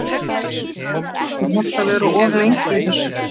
Karen: Er hægt að vera of lengi í þessu?